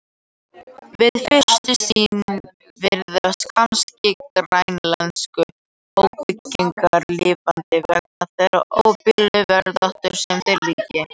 Við fyrstu sýn virðast kannski grænlensku óbyggðirnar lífvana vegna þeirrar óblíðu veðráttu sem þar ríkir.